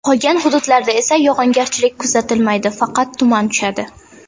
Qolgan hududlarda esa yog‘ingarchilik kuzatilmaydi, faqat tuman tushadi.